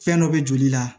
Fɛn dɔ bɛ joli la